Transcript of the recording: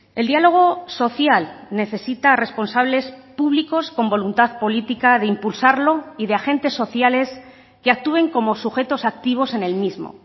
el diálogo social necesita responsables públicos con voluntad política de impulsarlo y de agentes sociales que actúen como sujetos activos en el mismo